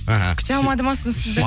мхм күте алмады ма сол сізді